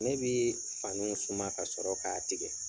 Ne bi faniw suma ka sɔrɔ k'a tigɛ.